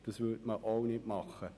Das würde man auch nicht tun.